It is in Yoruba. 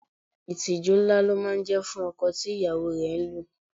Ìtìjú ńlá ló máa ń jẹ́ fún ọkọ tí ìyàwó rẹ̀ ń lù